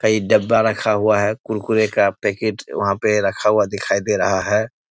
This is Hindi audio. कई डब्बा रखा हुआ है कुरकुरे का पैकेट वहाँ पे रखा हुआ दिखाई दे रहा है।